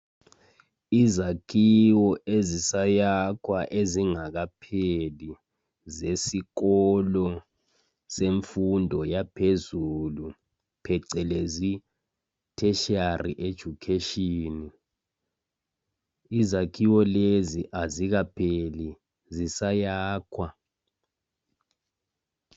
Izakhiwo ezisayakhwa ezingakapheli zesikolo yemfundo yaphezulu phecelezi itertiary education izakhiwo lezi azikapheli zisayakhwa